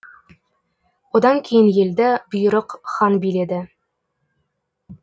одан кейін елді бұйрық хан биледі